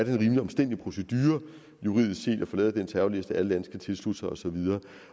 en rimelig omstændelig procedure juridisk set at få lavet den terrorliste alle lande skal tilslutte sig og så videre